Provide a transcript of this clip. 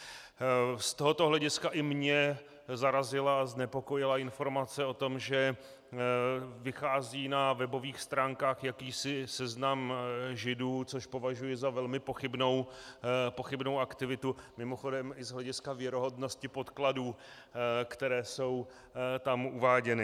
Z tohoto hlediska i mě zarazila a znepokojila informace o tom, že vychází na webových stránkách jakýsi seznam Židů, což považuji za velmi pochybnou aktivitu, mimochodem i z hlediska věrohodnosti podkladů, které jsou tam uváděny.